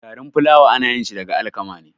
Garin fulawa anayinshi daga alakama ne